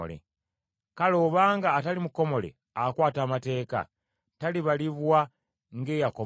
Kale obanga atali mukomole akwata amateeka, talibalibwa ng’eyakomolebwa?